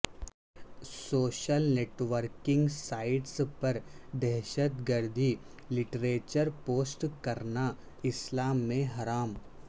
social networking sites پر دہشت گردی لٹریچر پوسٹ کرنا اسلام میں حرام